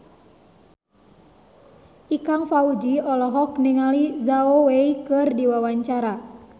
Ikang Fawzi olohok ningali Zhao Wei keur diwawancara